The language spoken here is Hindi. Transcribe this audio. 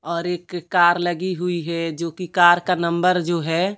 और एक कार लगी हुई है जो कि कार का नंबर जो है--